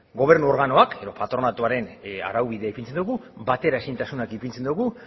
gobernu organoak edo patronatuaren araubidea ipintzen dugu bateraezintasunak ipintzen ditugu